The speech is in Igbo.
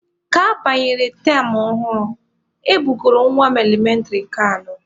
Ka abanyere tam ọhụrụ, e bugoro nwa m elementịrị nke anọ.